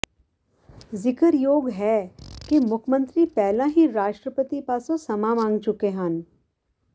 ਜ਼ਿਕਰਯੋਗ ਹੈ ਕਿ ਮੁੱਖ ਮੰਤਰੀ ਪਹਿਲਾਂ ਹੀ ਰਾਸ਼ਟਰਪਤੀ ਪਾਸੋਂ ਸਮਾਂ ਮੰਗ ਚੁੱਕੇ ਹਨ